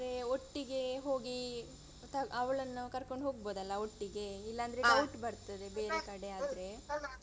ಅಂದ್ರೆ ಒಟ್ಟಿಗೆ ಹೋಗಿ ಅವಳನ್ನು ಕರ್ಕೊಂಡ್ ಹೋಗ್ಬೋದಲ್ಲ ಒಟ್ಟಿಗೆ ಇಲ್ಲಾಂದ್ರೆ ಡೌಟ್ ಬರ್ತದೆ ಬೇರೆ ಕಡೆ ಆದ್ರೆ.